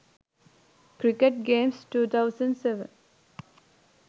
cricket games 2007